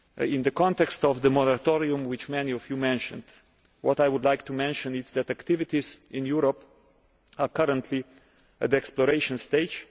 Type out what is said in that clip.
In the context of the moratorium which many of you mentioned, what I would like to say is that activities in Europe are currently at exploration stage.